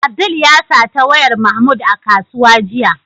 Abdul ya sata wayar Mahmud a kusuwa jiya.